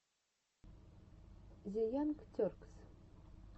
зе янг теркс